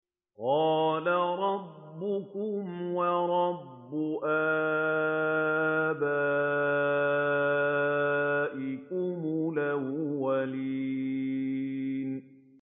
قَالَ رَبُّكُمْ وَرَبُّ آبَائِكُمُ الْأَوَّلِينَ